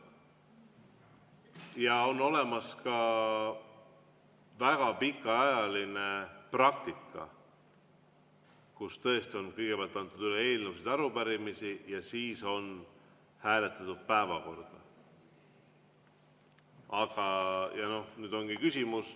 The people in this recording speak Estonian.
Ja on olemas ka väga pikaajaline praktika, kus tõesti on kõigepealt antud üle eelnõusid ja arupärimisi ja siis on hääletatud päevakorda.